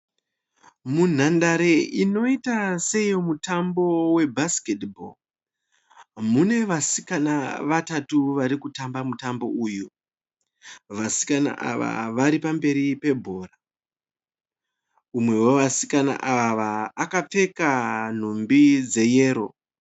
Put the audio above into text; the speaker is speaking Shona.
Munhandare inoita seyo mutambo we(basketball). Mune vasikana vatatu varikutamba mutambo uyu. Vasikana ava varipamberi pebhora. Umwe wevasikana ava akapfeka nhumbi dzeyero.